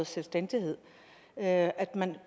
selvstændighed og at at man